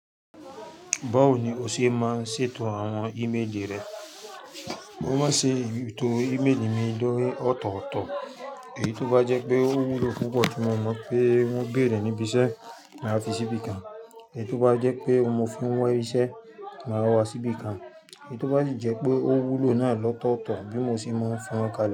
Báwo ni o ṣe máa ń ṣètò àwọn ìméèlì rẹ? Mo máa ń ṣètò ìméèlì mi lórí ọ̀tọ̀ọ̀tọ̀. Èyí tó bá jẹ́ pé ó wúlò púpọ̀ tí mo mọ̀ pé wọ́n béèrè níbi iṣẹ́, màá fi síbi kan. Èyí tó bá jẹ́ pé mo fún wọ iṣẹ́, màá wá síbi kan. Èyí tó bá jẹ́ pé ó wúlò náà lọ̀ọ̀tọ̀ọ̀tọ̀ bí mo ṣe máa ń fi wọ́n kalẹ̀